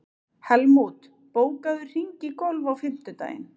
Helmút, bókaðu hring í golf á fimmtudaginn.